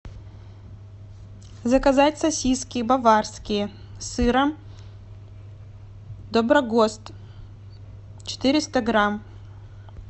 заказать сосиски баварские с сыром доброгост четыреста грамм